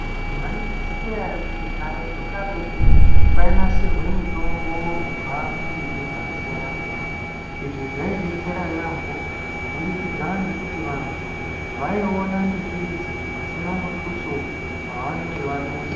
Mwa izviziya ere kuti karetu karetu kwainasirwe mutombo kubva kumiti dzakasiyana siyana izvi zvietsera yaambo kubudikidza ngekuti vantu vaiona mbiti idzi pasina mutuso wavanenge vadusa .